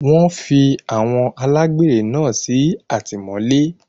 Wọ́n fi àwọn alágbèré náà sí àtìmọ́lé.